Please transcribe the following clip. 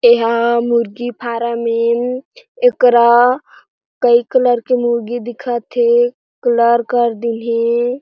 ये हा मुर्गी फ़ार्म ए एकरा कई कलर के मुर्गी दिखत हे कलर कर दीन हे।